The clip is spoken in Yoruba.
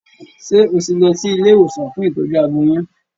Ṣé o ti lọ sí ilé ìwòsàn fún ìtọ́jú aboyún?